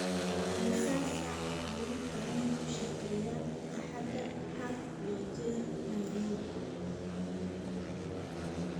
imisa saac ayuu tareenku shaqeeyaa axadaha had iyo jeer nairobi